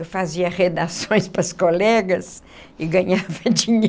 Eu fazia redações para as colegas e ganhava